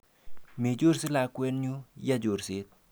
Mechorse lakwenyu, ya chorset.